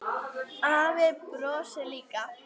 Afi brosir líka.